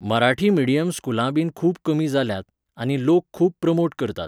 Marathi medium स्कुलांबीन खूब कमी जाल्यांत, आनी लोक खूब प्रमोट करतात.